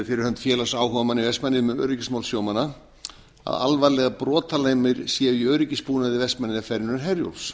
fyrir hönd félags áhugamanna í vestmannaeyjum um öryggismál sjómanna að alvarlegar brotalamir séu í öryggisbúnaði vestmannaeyjaferjunnar herjólfs